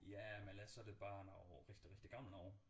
Ja men ellers så er det bare noget rigtig rigtig gammel noget